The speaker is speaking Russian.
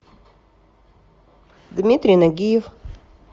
дмитрий нагиев